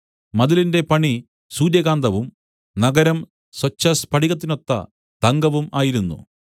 മതിലിന്റെ പണി സൂര്യകാന്തവും നഗരം സ്വച്ഛസ്ഫടികത്തിനൊത്ത തങ്കവും ആയിരുന്നു